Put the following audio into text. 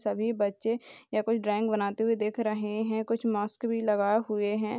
सभी बच्चे या कोई ड्राइंग बनाते हुए देख रहे हैं कुछ मास्क भी लगाए हुए हैं।